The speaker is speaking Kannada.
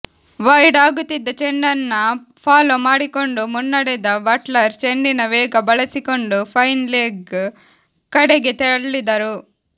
ವೈಡ್ ಆಗುತ್ತಿದ್ದ ಚೆಂಡನ್ನ ಫಾಲೋ ಮಾಡಿಕೊಂಡು ಮುನ್ನಡೆದ ಬಟ್ಲರ್ ಚೆಂಡಿನ ವೇಗ ಬಳಸಿಕೊಂಡು ಫೈನ್ ಲೆಗ್ ಕಡೆಗೆ ತಳ್ಳಿದರು